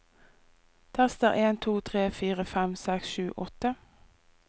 Tester en to tre fire fem seks sju åtte